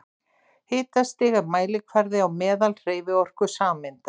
Hitastig er mælikvarði á meðalhreyfiorku sameinda.